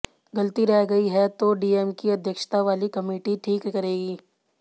गलती रह गई है तो डीएम की अध्यक्षता वाली कमिटी ठीक करेगी